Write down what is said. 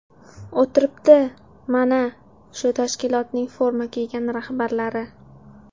O‘tiribdi, mana, shu tashkilotning forma kiygan rahbarlari.